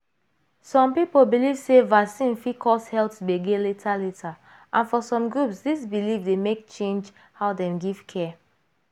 some people believe sey vaccine fit cause health gbege later later and for some groups this belief dey make change how dem give care.